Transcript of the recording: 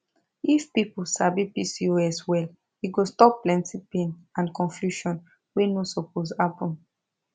if people sabi pcos well e go stop plenty pain and confusion wey no suppose happen